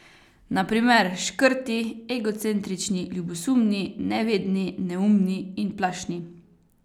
Na primer škrti, egocentrični, ljubosumni, nevedni, neumni in plašni.